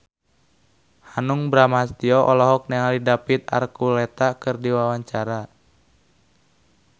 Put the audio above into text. Hanung Bramantyo olohok ningali David Archuletta keur diwawancara